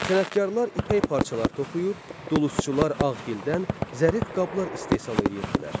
Sənətkarlar ipək parçalar toxuyur, dulusçular ağ gildən zərif qablar istehsal edirdilər.